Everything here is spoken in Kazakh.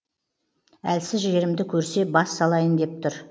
әлсіз жерімді көрсе бас салайын деп тұр